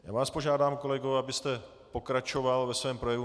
Já vás požádám, kolegové..., abyste pokračoval ve svém projevu.